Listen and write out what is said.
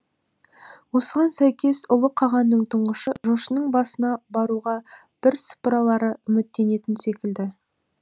осыған сәйкес ұлы қағанның тұңғышы жошының басына баруға бірсыпыралары үміттенетін секілді